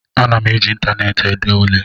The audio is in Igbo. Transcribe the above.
Ana m eji ịntaneetị ede ule